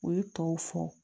U ye tɔw fɔ